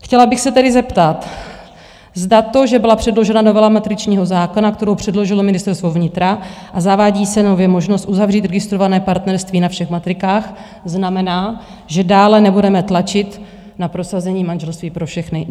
Chtěla bych se tedy zeptat, zda to, že byla předložena novela matričního zákona, kterou předložilo Ministerstvo vnitra a zavádí se nově možnost uzavřít registrované partnerství na všech matrikách, znamená, že dále nebudeme tlačit na prosazení manželství pro všechny?